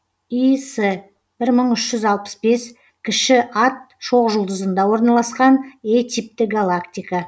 іс бір мың үш жүз алпыс бес кіші ат шоқжұлдызында орналасқан е типті галактика